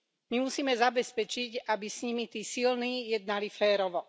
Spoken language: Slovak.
My musíme zabezpečiť, aby s nimi tí silní jednali férovo.